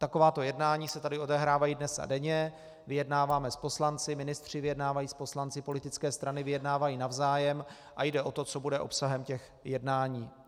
Takováto jednání se tady odehrávají dnes a denně, vyjednáváme s poslanci, ministři vyjednávají s poslanci, politické strany vyjednávají navzájem a jde o to, co bude obsahem těch jednání.